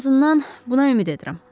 Ən azından buna ümid edirəm.